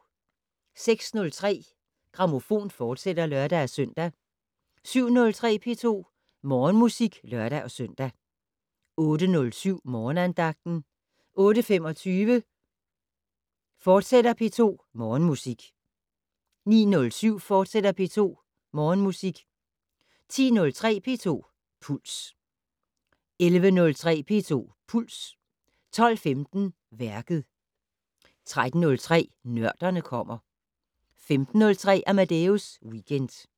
06:03: Grammofon, fortsat (lør-søn) 07:03: P2 Morgenmusik (lør-søn) 08:07: Morgenandagten 08:25: P2 Morgenmusik, fortsat 09:07: P2 Morgenmusik, fortsat 10:03: P2 Puls 11:03: P2 Puls 12:15: Værket 13:03: Nørderne kommer 15:03: Amadeus Weekend